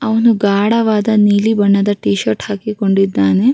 ಅವ್ನು ಗಾಢವಾದ ನೀಲಿ ಬಣ್ಣದ ಟಿ ಷರ್ಟ್‌ ಹಾಕಿಕೊಂಡಿದ್ದಾನೆ.